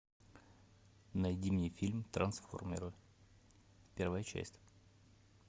найди мне фильм трансформеры первая часть